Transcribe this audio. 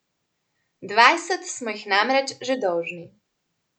Dvajset smo jih namreč že dolžni.